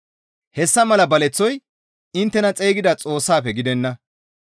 Hessa mala baleththoy inttena xeygida Xoossaafe gidenna.